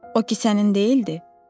O kisənin deyildi, dedilər.